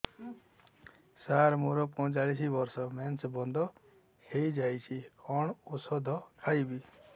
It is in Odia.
ସାର ମୋର ପଞ୍ଚଚାଳିଶି ବର୍ଷ ମେନ୍ସେସ ବନ୍ଦ ହେଇଯାଇଛି କଣ ଓଷଦ ଖାଇବି